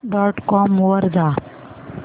dot com वर जा